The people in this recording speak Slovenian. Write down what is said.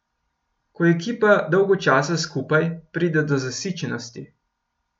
Ko je ekipa dolgo časa skupaj, pride do zasičenosti.